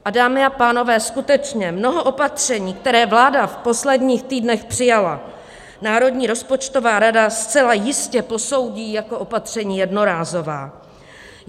A dámy a pánové, skutečně mnoho opatření, která vláda v posledních týdnech přijala, Národní rozpočtová rada zcela jistě posoudí jako opatření jednorázová.